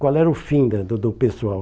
Qual era o fim da do do pessoal?